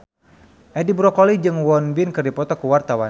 Edi Brokoli jeung Won Bin keur dipoto ku wartawan